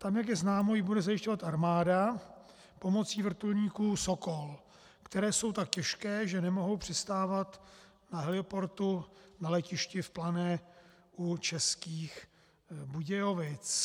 Tam, jak je známo, ji bude zajišťovat armáda pomocí vrtulníků Sokol, které jsou tak těžké, že nemohou přistávat na heliportu na letišti v Plané u Českých Budějovic.